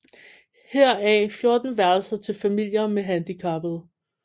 Heraf er 14 værelser til familier med handicappede